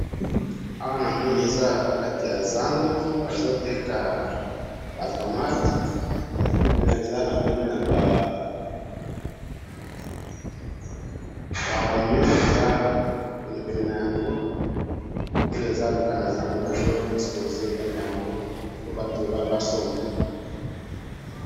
Awa namoni eza kati ya zando, bazo Teka ba tomates, eza même na ba oignons, eza pilipili na yango, Oyo eza Kaka na zando bazo exposer Yango po Bato basomba